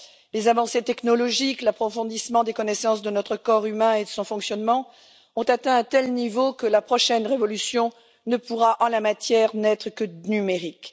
Les avancées technologiques, l'approfondissement des connaissances de notre corps humain et de son fonctionnement ont atteint un tel niveau que la prochaine révolution pourra n'être que numérique.